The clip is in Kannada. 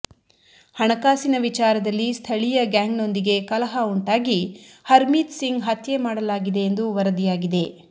ಹಣಕಾಸಿನ ವಿಚಾರದಲ್ಲಿ ಸ್ಥಳೀಯ ಗ್ಯಾಂಗ್ ನೊಂದಿಗೆ ಕಲಹ ಉಂಟಾಗಿ ಹರ್ಮೀತ್ ಸಿಂಗ್ ಹತ್ಯೆ ಮಾಡಲಾಗಿದೆ ಎಂದು ವರದಿಯಾಗಿದೆ